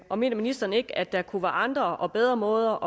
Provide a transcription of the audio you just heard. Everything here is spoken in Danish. og mener ministeren ikke at der kunne være andre og bedre måder